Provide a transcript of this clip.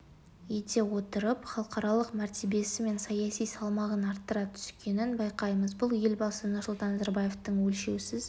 ете отырып халықаралық мәртебесі мен саяси салмағын арттыра түскенін байқаймыз бұл елбасы нұрсұлтан назарбаевтың өлшеусіз